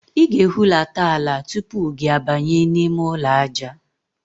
Ị ga-ehulata ala tupu gị abanye n'ime ụlọ aja.